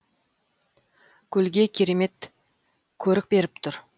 көлге керемет көрік беріп тұр